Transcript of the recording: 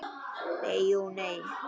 Nei, jú, nei.